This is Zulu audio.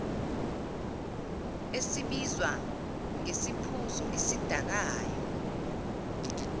esibizwa ngesiphuzo esidakayo